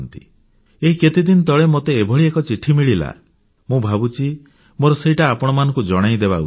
ଏଇ କେତେଦିନ ତଳେ ମୋତେ ଏଭଳି ଏକ ଚିଠି ମିଳିଲା ମୁଁ ଭାବୁଛି ମୋର ସେଇଟା ଆପଣମାନଙ୍କୁ ଜଣାଇଦେବା ଉଚିତ